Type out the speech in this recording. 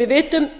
við vitum